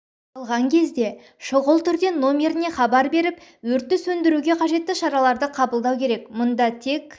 алған кезде шұғыл түрде номеріне хабар беріп өртті сөндіруге қажетті шараларды қабылдау керек мұнда тек